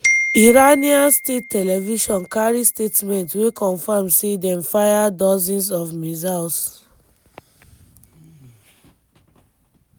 iranian state television carry statement wey confam say dem fire "dozens" of missiles.